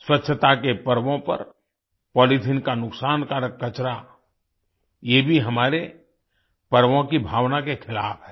स्वच्छता के पर्वों पर पॉलीथीन का नुकसानकारक कचरा ये भी हमारे पर्वों की भावना के खिलाफ है